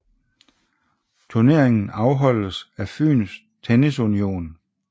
Turneringen afholdes af Fyns Tennis Union